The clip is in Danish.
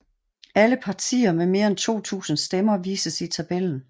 Alle partier med mere end 2000 stemmer vises i tabellen